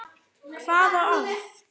Hvaða orð?